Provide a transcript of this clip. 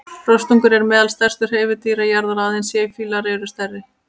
Rostungar eru meðal stærstu hreifadýra jarðar, aðeins sæfílar eru stærri.